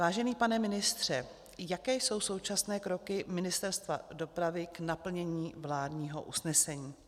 Vážený pane ministře, jaké jsou současné kroky Ministerstva dopravy k naplnění vládního usnesení?